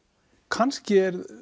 kannski er